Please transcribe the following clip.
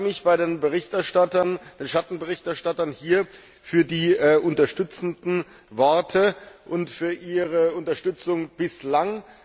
Ich bedanke mich bei den Berichterstattern und den Schattenberichterstattern für die unterstützenden Worte und für Ihre Unterstützung bislang.